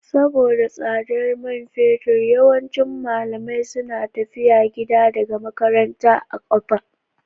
Saboda tsadar man fetur, yawancin malamai suna tafiya gida daga makaranta a kafa